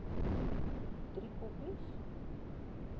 driekoppies